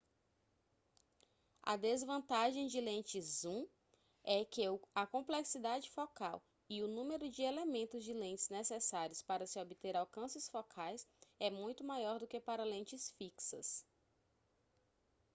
a desvantagem de lentes zoom é que a complexidade focal e o número de elementos de lentes necessários para se obter alcances focais é muito maior do que para lentes fixas